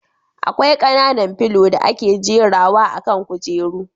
Akwai kananan filo da ake jera wa akan kujeru